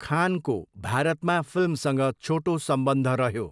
खानको भारतमा फिल्मसँग छोटो सम्बन्ध रह्यो।